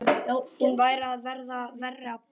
Hún væri að verða verri en pabbi.